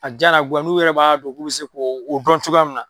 A diya n'a goya n'u yɛrɛ b'a dɔn k'u bɛ se k'o dɔn cogoya minna